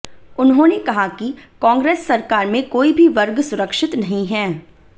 उन्होंने कहा कि कांग्रेस सरकार में कोई भी वर्ग सुरक्षित नहीं है